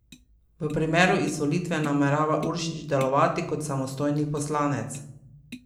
V primeru izvolitve namerava Uršič delovati kot samostojni poslanec.